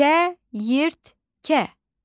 Çəyirtkə.